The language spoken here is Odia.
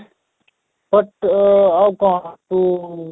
but ଆଉ କ'ଣ କି?